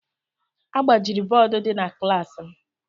A gbajiri bọọdụ dị na klaasị m.